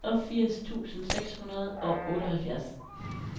niogfirs tusind seks hundrede og otteoghalvfjerds